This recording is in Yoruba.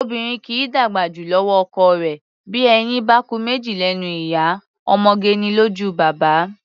Obìnrin kì í dàgbà jù lọ́wọ́ ọkọ rẹ̀; bí eyín bá ku méjì lẹ́nu ìyá, ọmọge ni lójú baba.